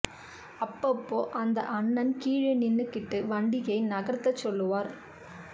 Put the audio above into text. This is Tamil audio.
அப்பப்போ அந்த அண்ணன் கீழே நின்னுக்கிட்டு வண்டியை நகர்த்தச் சொல்லுவார்